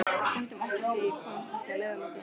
Stundum óttast ég að ég komist ekki að leiðarlokum.